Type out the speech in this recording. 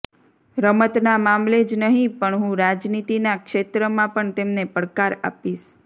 રમતના મામલે જ નહીં પણ હું રાજનીતિના ક્ષેત્રમાં પણ તેમને પડકાર આપીશ